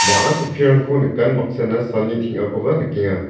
bang·a chokkirangko nikan baksana salni teng·akoba nikenga.